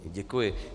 Děkuji.